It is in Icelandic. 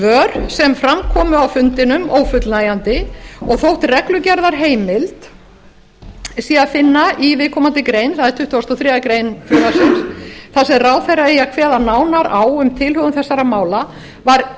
þau svör sem fram komu á fundinum ófullnægjandi og þótt reglugerðarheimild sé að finna í viðkomandi grein það er tuttugasti og þriðju greinar frumvarpsins þar sem ráðherra eigi að kveða nánar á um tilhögun þessara mála var